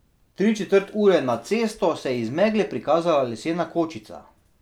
Tri četrt ure nad cesto se je iz megle prikazala lesena kočica.